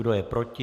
Kdo je proti?